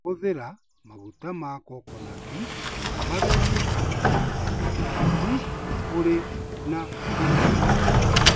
Hũthĩra maguta ma kokonati magerie kũiga mwĩrĩ waku ũrĩ na ũrugarĩ.